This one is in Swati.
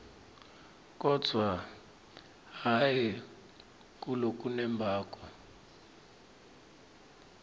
kodvwa hhayi ngalokunembako